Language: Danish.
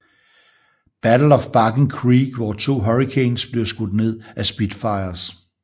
Battle of Barking Creek hvor to Hurricanes blev skudt ned af Spitfires